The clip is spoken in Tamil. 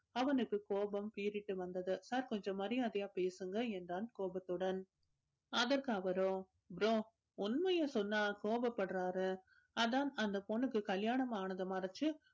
அவனுக்கு கோபம் பீறிட்டு வந்தது sir கொஞ்சம் மரியாதையா பேசுங்க என்றான் கோபத்துடன் அதற்கு அவரோ bro உண்மைய சொன்னா கோபப்படுறாரு அதான் அந்த பொண்ணுக்கு கல்யாணம் ஆனது மறைச்சு